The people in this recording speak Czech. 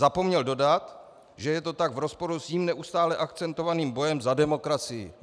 Zapomněl dodat, že je to tak v rozporu s jím neustále akcentovaným bojem za demokracii.